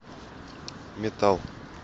метал